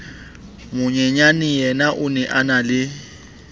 monyenyaneyena o ne a enale